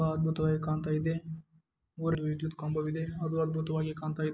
ತುಂಬಾ ಅದ್ಭುತವಾಗಿ ಕಾಣ್ತಾ ಇದೆ ನೋಡಲು ವಿದ್ಯುತ್ ಕಂಬ ಇದೆ ಅದು ಅದ್ಭುತವಾಗಿ ಕಾಣ್ತಾ ಇದೆ.